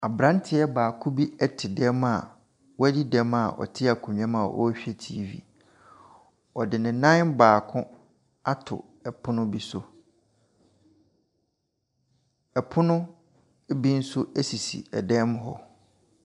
Aberanteɛ baako ɛte dan mu a wadi dɛm a ɔte akonnwa mu ɔrehwɛ TV. Ɔde ne nan baako ato pono bi so. Pono bi nso sisi dan mu hɔ.